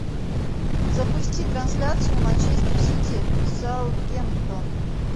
запусти трансляцию манчестер сити саутгемптон